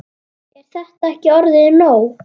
Er þetta ekki orðið nóg?